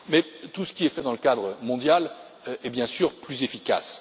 Mais tout ce qui est fait dans le cadre mondial est bien sûr plus efficace.